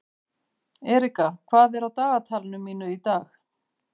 Erika, hvað er á dagatalinu mínu í dag?